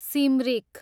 Simrik